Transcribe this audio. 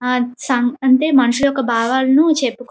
అంటే మనుషుల యొక్క భాగాలను చెప్పుకో --